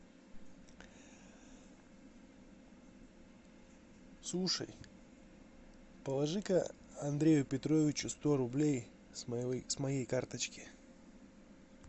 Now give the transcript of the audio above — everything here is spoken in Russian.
слушай положи ка андрею петровичу сто рублей с моей карточки